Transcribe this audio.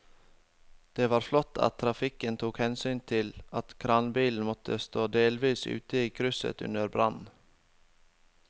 Det var flott at trafikken tok hensyn til at kranbilen måtte stå delvis ute i krysset under brannen.